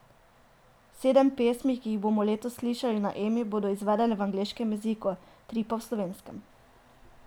Sedem pesmi, ki jih bomo letos slišali na Emi, bodo izvedene v angleškem jeziku, tri pa v slovenskem.